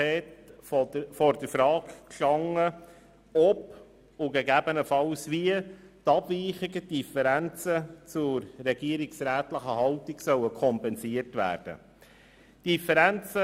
Die FiKo stand am Schluss der Beratungen dieses EP vor der Frage, ob und gegebenenfalls wie die Abweichungen und Differenzen zur regierungsrätlichen Haltung kompensiert werden sollen.